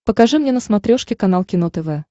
покажи мне на смотрешке канал кино тв